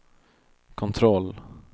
kontroll